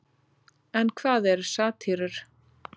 en hvað eru satírur